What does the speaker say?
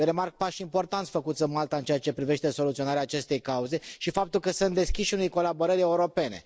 Remarc pași importanți făcuți în Malta în ceea ce privește soluționarea acestei cauze și faptul că sunt deschiși unei colaborări europene.